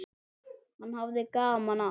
Hann hafði gaman af.